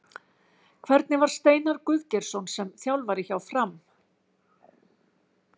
Hvernig var Steinar Guðgeirsson sem þjálfari hjá Fram?